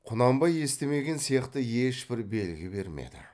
құнанбай естімеген сияқты ешбір белгі бермеді